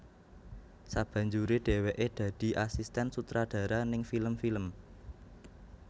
Sabanjure dheweke dadi asisten sutradara ning film film